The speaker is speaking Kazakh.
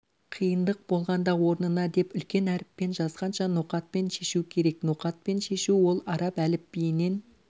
қиындық болғанда орнына деп үлкен әріппен жазғанша ноқатпен шешу керек ноқатпен шешу ол араб әліпбиінен